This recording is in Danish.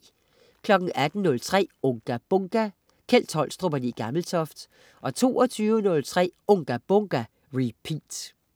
18.03 Unga Bunga! Kjeld Tolstrup og Le Gammeltoft 22.03 Unga Bunga! Repeat